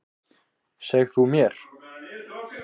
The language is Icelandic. Seg þú mér.